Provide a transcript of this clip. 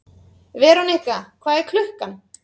Verónika, hvað er klukkan?